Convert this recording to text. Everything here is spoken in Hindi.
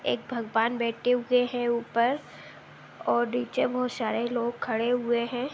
एक भगवान बैठे हुए है ऊपर और नीचे बहोत सारे लोग खड़े हुए हैं।